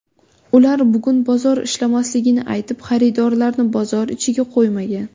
Ular bugun bozor ishlamasligini aytib, xaridorlarni bozor ichiga qo‘ymagan.